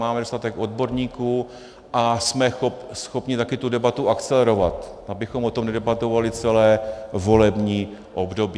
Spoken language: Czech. Máme dostatek odborníků a jsme schopni také tu debatu akcelerovat, abychom o tom nedebatovali celé volební období.